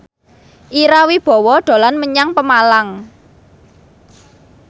Ira Wibowo dolan menyang Pemalang